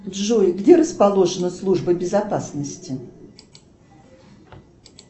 джой где расположена служба безопасности